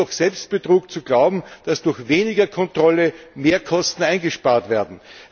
Es ist doch Selbstbetrug zu glauben, dass durch weniger Kontrolle mehr Kosten eingespart werden.